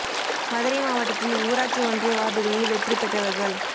மதுரை மாவட்டத்தில் ஊராட்சி ஒன்றிய வாா்டுகளில் வெற்றி பெற்றவா்கள்